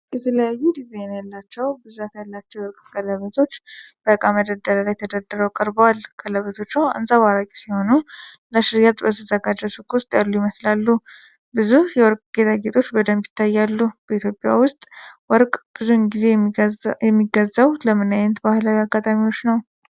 የተለያዩ ዲዛይን ያላቸው ብዛት ያላቸው የወርቅ ቀለበቶች በእቃ መደርደሪያ ላይ ተደርድረው ቀርበዋል። ቀለበቶቹ አንፀባራቂ ሲሆኑ ለሽያጭ በተዘጋጀ ሱቅ ውስጥ ያሉ ይመስላሉ። ብዙ የወርቅ ጌጣጌጦች በደንብ ይታያሉ። በኢትዮጵያ ውስጥ ወርቅ ብዙውን ጊዜ የሚገዛው ለምን ዓይነት ባህላዊ አጋጣሚዎች ነው?